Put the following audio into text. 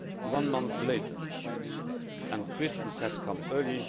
One month later and Christmas has come early.